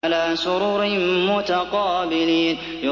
عَلَىٰ سُرُرٍ مُّتَقَابِلِينَ